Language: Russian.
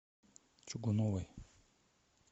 чугуновой